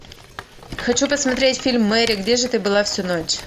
хочу посмотреть фильм мэри где же ты была всю ночь